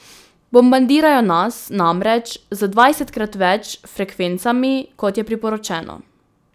Bombardirajo nas namreč z dvajsetkrat več frekvencami, kot je priporočeno.